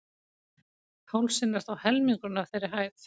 Hálsinn er þó helmingurinn af þeirri hæð.